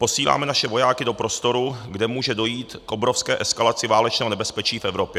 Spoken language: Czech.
Posíláme naše vojáky do prostoru, kde může dojít k obrovské eskalaci válečného nebezpečí v Evropě.